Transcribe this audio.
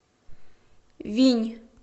винь